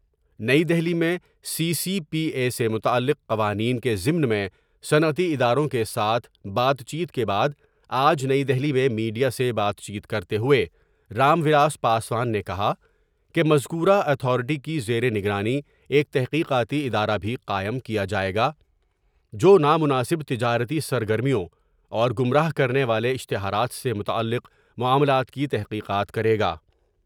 نئی دہلی میں C C P A سے متعلق قوانین کی ضمن میں صنعتی اداروں کے ساتھ بات چیت کے بعد آج نئی دہلی میں میڈیا سے بات چیت کرتے ہوۓ رام ولاس پاسوان نے کہا کہ مذکورہ اتھارٹی کی زیرنگرانی ایک تحقیقاتی ادارہ بھی قائم کیا جاۓ گا جو نا مناسب تجارتی سرگرمیوں اور گمراہ کرنے والے اشتہارات سے متعلق معاملات کی تحقیقات کرے گا ۔